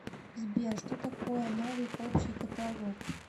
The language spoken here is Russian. сбер что такое новый общий каталог